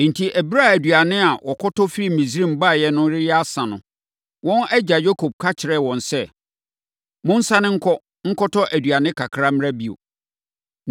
Enti, ɛberɛ a aduane a wɔkɔtɔ firii Misraim baeɛ no reyɛ asa no, wɔn agya Yakob ka kyerɛɛ wɔn sɛ, “Monsane nkɔ, nkɔtɔ aduane kakra mmra bio.”